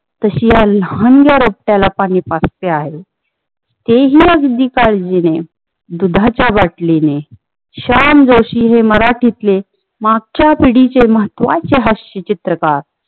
तशी या लहानग्या रोपट्याला पाणी पाजते आहे. ते हि अगदी काळजीने दुधाचा बाटलीने शान जोशी हे मराठीत्ले मागचा पिढीचे महत्वाचे हास्य चित्रकार